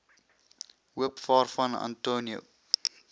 hoop waarvan antonio